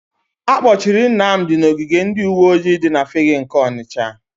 Akpọchiri Nnamdị n'ogige ndịuweojii dị na Fegge nke Ọnịsha.